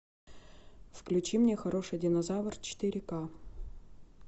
включи мне хороший динозавр четыре ка